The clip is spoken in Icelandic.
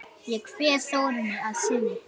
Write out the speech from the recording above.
Ég kveð Þórunni að sinni.